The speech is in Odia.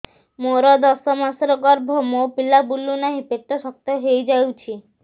ମୋର ଦଶ ମାସର ଗର୍ଭ ମୋ ପିଲା ବୁଲୁ ନାହିଁ ପେଟ ଶକ୍ତ ହେଇଯାଉଛି